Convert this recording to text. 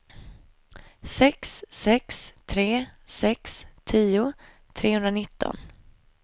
sex sex tre sex tio trehundranitton